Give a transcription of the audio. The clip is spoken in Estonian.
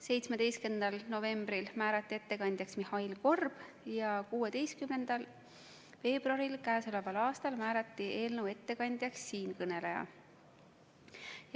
17. novembril määrati ettekandjaks Mihhail Korb ja 16. veebruaril k.a määrati eelnõu ettekandjaks siinkõneleja.